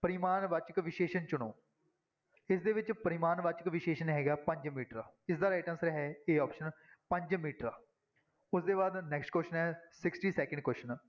ਪਰਿਮਾਣਵਾਚਕ ਵਿਸ਼ੇਸ਼ਣ ਚੁਣੋ ਇਸਦੇ ਵਿੱਚ ਪਰਿਮਾਣਵਾਚਕ ਵਿਸ਼ੇਸ਼ਣ ਹੈਗਾ ਪੰਜ ਮੀਟਰ ਇਸਦਾ right answer ਹੈ a option ਪੰਜ ਮੀਟਰ, ਉਸਦੇ ਬਾਅਦ next question ਹੈ sixty-second question